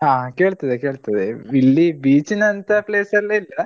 ಹಾ ಕೇಳ್ತದೆ ಕೇಳ್ತದೆ ಹೇಳು ಇಲ್ಲಿ beach ನಂತ place ಎಲ್ಲಾ ಇಲ್ಲಾ,